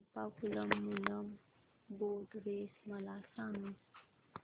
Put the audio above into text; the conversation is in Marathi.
चंपाकुलम मूलम बोट रेस मला सांग